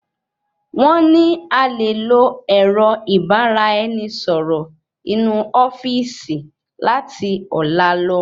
Wón ní a lè lò ẹrọ ìbarà ẹni sọrọ inu ofíìsì lati ọlá lọ